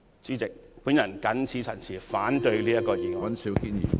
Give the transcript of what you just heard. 主席，我謹此陳辭，反對這項議案。